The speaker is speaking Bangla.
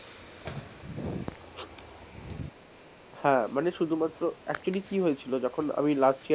হ্যাঁ মানে শুধুমাত্র actually কি হয়েছিল যখন আমি last.